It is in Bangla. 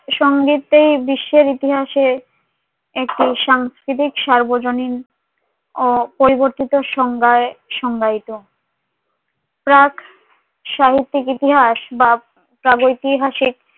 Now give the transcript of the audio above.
সঙ্গীতের বিশ্বের ইতিহাসে একটি সাংস্কিতিক সার্বজনীন অপরিবর্তিত সংজ্ঞাই সংজ্ঞাইতো প্ৰাগ সাহিত্যিক ইতিহাস বা প্ৰাগ ঐতিহাসিক